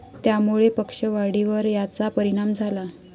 त्यामुळे पक्ष वाढीवर याचा परिणाम झाला.